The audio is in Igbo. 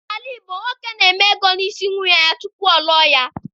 N'ala Igbo, nwoke na-eme ego n'isi nwaanyị tupu ọ lụọ ya.